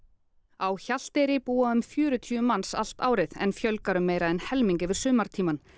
á Hjalteyri búa um fjörutíu manns allt árið en fjölgar um meira en helming yfir sumartímann